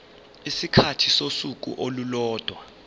isikhathi sosuku olulodwa